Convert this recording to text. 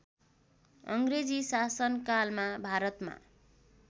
अङ्ग्रेजी शासनकालमा भारतमा